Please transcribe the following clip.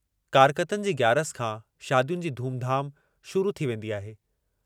कारकतनि जी ग्यारस खां शादियुनि जी धूम-धाम शुरू थी वेंदी आहे।